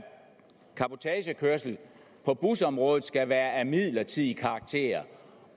cabotagekørsel på busområdet skal være af midlertidig karakter